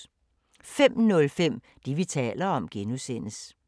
05:05: Det, vi taler om (G)